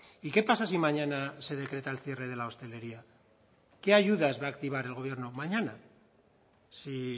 y qué pasa si mañana se decreta el cierre de la hostelería qué ayudas va a activar el gobierno mañana si